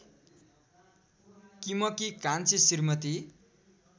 किमकी कान्छी श्रीमती